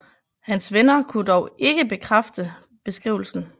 Hans venner kunne dog ikke bekræfte beskrivelsen